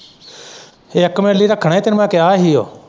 ਇੱਕ ਮਿੰਟ ਲਈ ਰੱਖਣੇ ਤੈਨੂੰ ਮੈਂ ਕਿਹਾ ਹੀ ਓ।